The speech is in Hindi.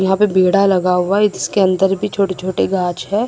यहां पे बेड़ा लगा हुआ है जिसके अंदर भी छोटे छोटे गाछ है।